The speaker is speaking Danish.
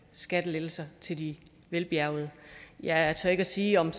skattelettelser til de velbjærgede jeg tør ikke sige om